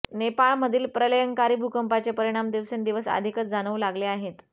नेपाळमधील प्रलयंकारी भूकंपाचे परिणाम दिवसेंदिवस अधिकच जाणवू लागले आहेत